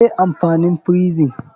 Me amfanin frison?